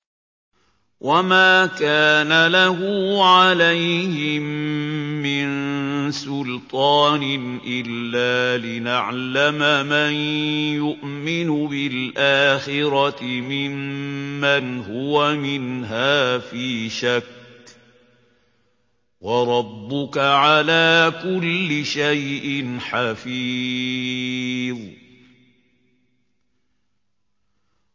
وَمَا كَانَ لَهُ عَلَيْهِم مِّن سُلْطَانٍ إِلَّا لِنَعْلَمَ مَن يُؤْمِنُ بِالْآخِرَةِ مِمَّنْ هُوَ مِنْهَا فِي شَكٍّ ۗ وَرَبُّكَ عَلَىٰ كُلِّ شَيْءٍ حَفِيظٌ